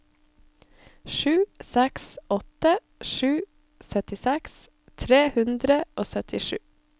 sju seks åtte sju syttiseks tre hundre og syttisju